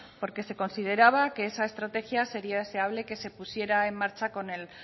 porque se consideraba que esa estrategia sería deseable que se pusiera en marcha con el